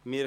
Ziff.